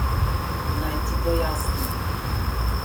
Naj ti pojasnim.